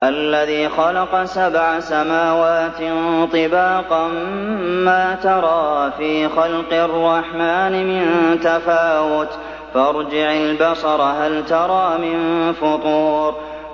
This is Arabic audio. الَّذِي خَلَقَ سَبْعَ سَمَاوَاتٍ طِبَاقًا ۖ مَّا تَرَىٰ فِي خَلْقِ الرَّحْمَٰنِ مِن تَفَاوُتٍ ۖ فَارْجِعِ الْبَصَرَ هَلْ تَرَىٰ مِن فُطُورٍ